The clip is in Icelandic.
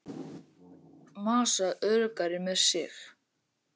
Massa öruggari með sig